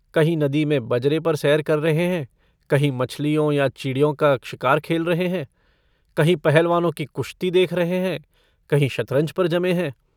कहीं नदी में बजरे पर सैर कर रहे हैं कहीं मछलियो या चिड़ियों का शिकार खेल रहे हैं कहीं पहलवानों की कुश्ती देख रहे हैं कहीं शतरंज पर जमे हैं।